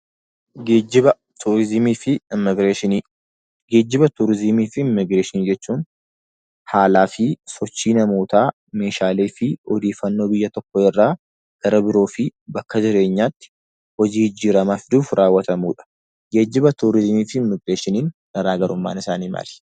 Geejibaa, tuurizimiifi imibireeshini; geejibaa, tuurizimiifi imibireeshinii jechuun, haalafi sochii namoota meeshaleefi ooddeefannoo biyya tokko irraa gara biroofi bakka jireenyaatti hojii jijjiiramaf dhufu rawwatamuudha. geejjibaa, tuurizimiifi imibireeshini garagarumman isaani maali?